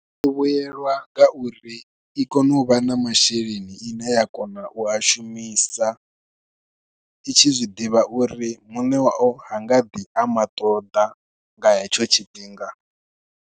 Ndo vhuyelwa nga uri i kone u vha na masheleni ine ya kona u a shumisa, i tshi zwiḓivha uri muṋe wao ha nga ḓi a maṱoḓa nga hetsho tshifhinga.